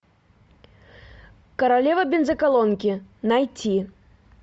королева бензоколонки найти